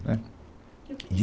Né, De